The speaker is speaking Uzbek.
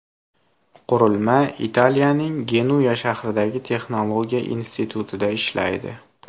Qurilma Italiyaning Genuya shahridagi texnologiya institutida ishlaydi.